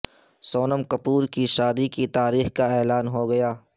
سونم کپور کی شادی کی تاریخ کا اعلان ہوگیا